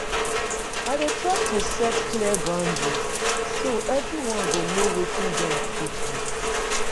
I dey try to set clear boundaries, so everyone go know wetin dem fit do.